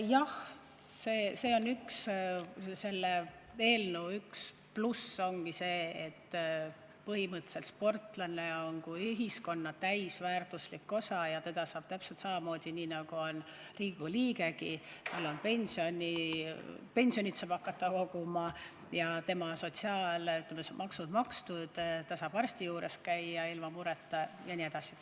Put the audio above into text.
Jah, selle eelnõu üks plusse ongi see, et põhimõtteliselt on sportlane ühiskonna täisväärtuslik osa ja täpselt samamoodi, nii nagu Riigikogu liigegi, saab ta pensioni hakata koguma ja tema sotsiaalmaksud on makstud, ta saab arsti juures käia ilma mureta jne.